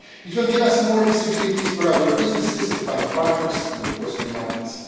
It will give us more possibilities for our businesses to find partners and of course new markets.